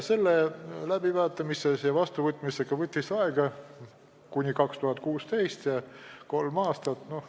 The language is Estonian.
See läbivaatamine ja vastuvõtmine läks aastani 2016, võttis kolm aastat aega.